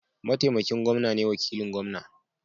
Mataimakin gwamna ne wakilin gwamna